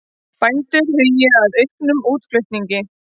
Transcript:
Bændur hugi að auknum útflutningi